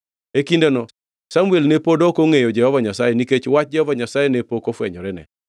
E kindeno Samuel ne pod ok ongʼeyo Jehova Nyasaye nikech wach Jehova Nyasaye ne pok ofwenyorene.